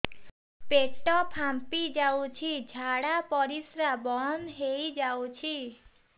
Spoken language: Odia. ପେଟ ଫାମ୍ପି ଯାଉଛି ଝାଡା ପରିଶ୍ରା ବନ୍ଦ ହେଇ ଯାଉଛି